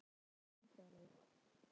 Hann spennir greipar og er vandræðalegur.